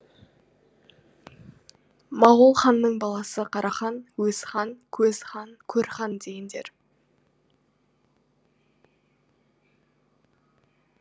мағол ханның баласы қарахан өзхан көзхан көрхан дегендер